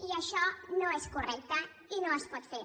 i això no és correcte i no es pot fer